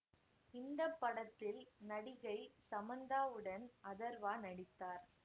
இந்த படத்தில் நடிகை சமந்தாவுடன் அதர்வா நடித்தார்